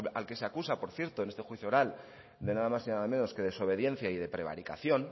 al que se acusa por cierto en este juicio oral de nada más y nada menos que desobediencia y prevaricación